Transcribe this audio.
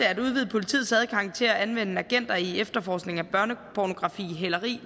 at udvide politiets adgang til at anvende agenter i efterforskning af børnepornografi hæleri